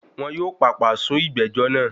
Wọn yóò pàpà sún ìgbẹ́jọ́ náà.